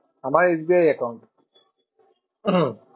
আমার S B I account.